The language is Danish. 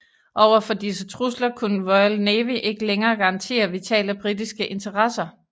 Overfor disse trusler kunne Royal Navy ikke længere garantere vitale britiske interesser